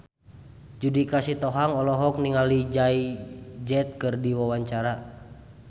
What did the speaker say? Judika Sitohang olohok ningali Jay Z keur diwawancara